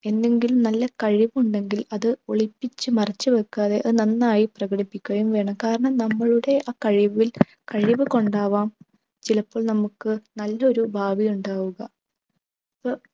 എന്തെങ്കിലും നല്ല കഴിവുണ്ടെങ്കിൽ അത് ഒളിപ്പിച്ച് മറച്ചു വെക്കാതെ അത് നന്നായി പ്രകടിപ്പിക്കുകയും വേണം കാരണം നമ്മളുടെ ആ കഴിവിൽ കഴിവ് കൊണ്ടാവാം ചിലപ്പോൾ നമുക്ക് നല്ലൊരു ഭാവിയുണ്ടാവുക